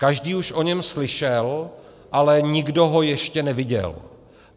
Každý už o něm slyšel, ale nikdo ho ještě neviděl.